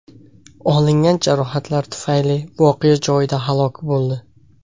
olingan jarohatlar tufayli voqea joyida halok bo‘ldi.